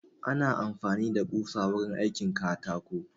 Ana amfani da ƙusa wurin aikin katako